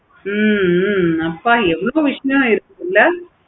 ஹம் அப்போ எவ்வளோ இருக்கும்ல